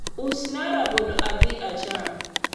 usna rabolo adhi acham